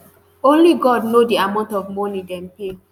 only god know di amount of money dem pay